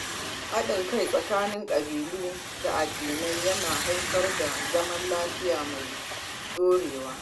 Hadin kai tsakanin kabilu da addinai yana haifar da zaman lafiya mai dorewa.